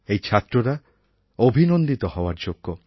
এই ছাত্ররা অভিনন্দিত হওয়ার যোগ্য